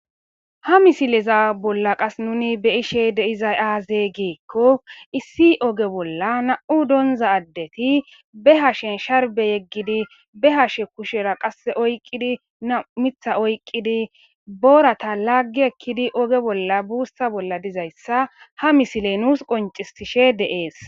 Ha misileza bola qasi nuni be'ishe dezay ayibe giko issi oge bola nam'u donza adet be hashen sharbe yegidi be hashe qase kushera oyiqidi nam'u miththa oyikidi borata lagi ekidi oge bolla busa bola dizaysa ha misile nusi konc'isishe dee's.